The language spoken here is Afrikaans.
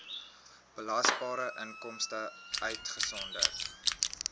belasbare inkomste uitgesonderd